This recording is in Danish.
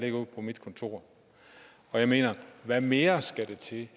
på mit kontor jeg mener hvad mere skal der til